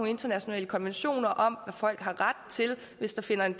internationale konventioner om folk har ret til hvis der finder en